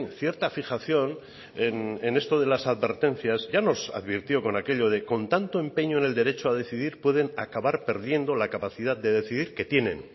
cierta fijación en esto de las advertencias ya nos advirtió con aquello de con tanto empeño en el derecho a decidir pueden acabar perdiendo la capacidad de decidir que tienen